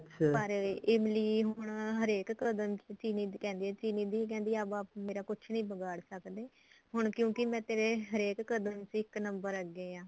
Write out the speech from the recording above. ਪਰ ਇਮਲੀ ਹੁਣ ਹਰੇਕ ਕਦਮ ਚਿਰੀ ਨੂੰ ਕਹਿੰਦੀ ਐ ਚਿਰੀ ਨੂੰ ਕਹਿੰਦੀ ਐ ਅਬ ਆਪ ਮੇਰਾ ਕੁੱਛ ਨੀ ਬਿਗਾੜ ਸਕਦੇ ਹੁਣ ਕਿਉਂਕਿ ਮੈਂ ਤੇਰੇ ਹਰੇਕ ਕਦਮ ਚ ਇੱਕ number ਅੱਗੇ ਆ